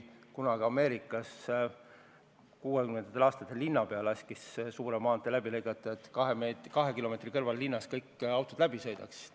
Ameerikas laskis üks linnapea 1960-ndatel suure maantee läbi lõigata, et kõik autod kaks kilomeetrit kõrval asuvast linnast läbi sõidaks.